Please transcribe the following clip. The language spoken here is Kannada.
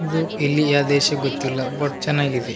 ಇದು ಇಲ್ಲಿಯ ದೇಶ ಗೊತ್ತಿಲ್ಲ ಬಟ್ ಚೆನಾಗಿದೆ.